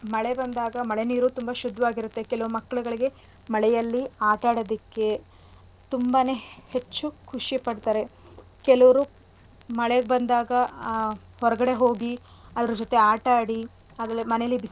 ಮಳೆ ನೀರು ತುಂಬಾ ಶುದ್ಧವಾಗಿರತ್ತೆ ಕೆಲವು ಮಕ್ಳಗಳಿಗೆ ಮಳೆಯಲ್ಲಿ ಆಟಾಡದಿಕ್ಕೆ ತುಂಬಾನೆ ಹೆಚ್ಚು ಖುಷಿ ಪಡ್ತಾರೆ ಕೆಲುವ್ರು ಮಳೆ ಬಂದಾಗ ಆ ಹೊರ್ಗಡೆ ಹೋಗಿ ಅದ್ರ್ ಜೊತೆ ಆಟಾಡಿ ಆಮೇಲೆ ಮನೇಲಿ.